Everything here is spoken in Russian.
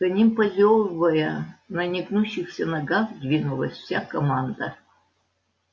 за ним позёвывая на негнущихся ногах двинулась вся команда